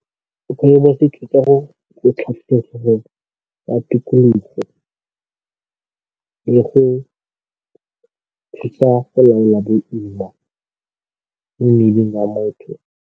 ya tikologo le go thusa go laola boima mo mmeleng wa motho.